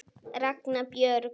Ragna Björg.